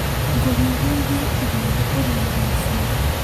Ngũhiũhĩrie irio ũrĩe thaa ici